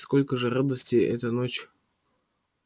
и сколько же радости эта ночь